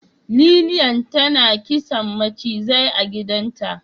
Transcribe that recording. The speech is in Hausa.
Lilian tana kisan mucizai a gidanta.